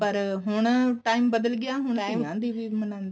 ਪਰ ਹੁਣ time ਬਦਲ ਗਿਆ ਹੁਣ ਕੁੜੀਆਂ ਦੀ ਵੀ ਮਨਾਉਂਦੇ ਨੇ